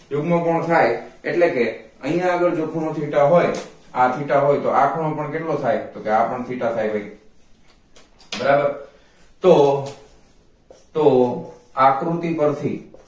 યુગ્મ કોણ થાય એટલે કે આની આગળ જો ખૂણો theta હોય આ theta હોય તો આ ખૂણો પણ કેટલો થાય તો કે આપણ theta થાય ભાઈ બરાબર તો તો આકૃતિ પરથી